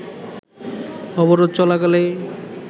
অবরোধ চলাকালে